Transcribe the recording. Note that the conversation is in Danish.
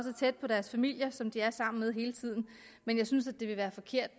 er tæt på deres familier som de er sammen med hele tiden men jeg synes at det vil være forkert